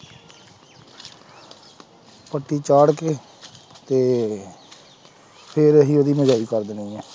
ਪੱਤੀ ਚਾੜ ਕੇ ਤੇ ਫਿਰ ਅਸੀਂ ਉਹਦੀ ਕਰ ਦੇਣੀ ਹੈ।